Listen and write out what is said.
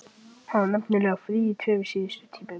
Það var nefnilega frí í tveimur síðustu tímunum.